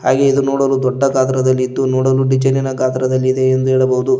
ಹಾಗೆ ಇದು ನೋಡಲು ದೊಡ್ಡ ಗಾತ್ರದಲ್ಲಿದ್ದು ನೋಡಲು ಡಿಸೈನಿನ ಗಾತ್ರದಲ್ಲಿದೆ ಎಂದು ಹೇಳಬಹುದು.